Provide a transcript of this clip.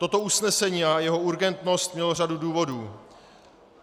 Toto usnesení a jeho urgentnost mělo řadu důvodů.